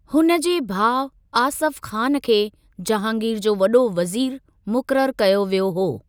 हुन जे भाउ आसफ ख़ान खे जहांगीर जो वॾो वज़ीरु मुक़ररु कयो वियो हो।